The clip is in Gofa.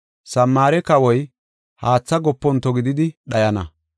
Samaare kawoy haatha goponto gididi dhayana.